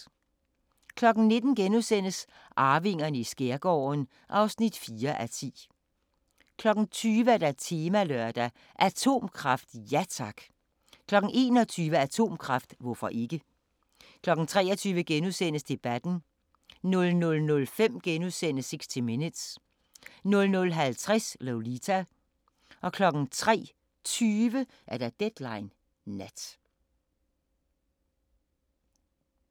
19:00: Arvingerne i skærgården (4:10)* 20:00: Temalørdag: Atomkraft – ja tak! 21:00: Atomkraft – hvorfor ikke? 23:00: Debatten * 00:05: 60 Minutes * 00:50: Lolita 03:20: Deadline Nat